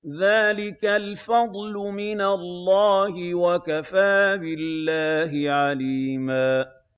ذَٰلِكَ الْفَضْلُ مِنَ اللَّهِ ۚ وَكَفَىٰ بِاللَّهِ عَلِيمًا